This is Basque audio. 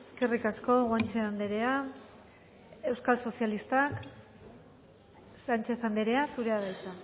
eskerrik asko guanche andrea euskal sozialistak sánchez andrea zurea da hitza